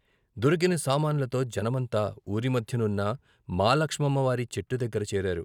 దొరికిన సామాన్లతో జనమంతా ఊరి మధ్య నున్న మాలక్షమ్మవారి చెట్టు దగ్గర చేరారు.